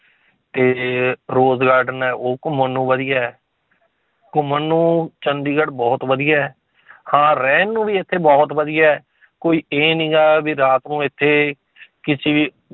ਤੇ rose garden ਹੈ ਉਹ ਘੁੰਮਣ ਨੂੰ ਵਧੀਆ ਹੈ ਘੁੰਮਣ ਨੂੰ ਚੰਡੀਗੜ੍ਹ ਬਹੁਤ ਵਧੀਆ ਹੈ ਹਾਂ ਰਹਿਣ ਨੂੰ ਵੀ ਇੱਥੇ ਬਹੁਤ ਵਧੀਆ ਹੈ ਕੋਈ ਇਹ ਨੀਗਾ ਵੀ ਰਾਤ ਨੂੰ ਇੱਥੇ ਕਿਸੇ